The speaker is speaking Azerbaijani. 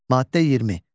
Maddə 20.